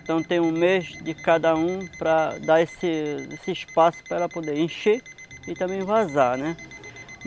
Então tem um mês de cada um para dar esse esse espaço para poder encher e também vazar, né?